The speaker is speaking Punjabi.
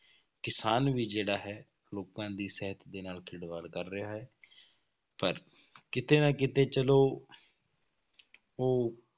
ਕਿਸਾਨ ਵੀ ਜਿਹੜਾ ਹੈ, ਲੋਕਾਂ ਦੀ ਸਿਹਤ ਦੇ ਨਾਲ ਖਿਲਵਾੜ ਕਰ ਰਿਹਾ ਹੈ ਪਰ ਕਿਤੇ ਨਾ ਕਿਤੇ ਚਲੋ ਉਹ